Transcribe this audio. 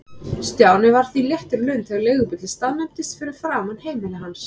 Stjáni var því léttur í lund þegar leigubíllinn staðnæmdist fyrir framan heimili hans.